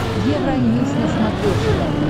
евроньюс на смотрешке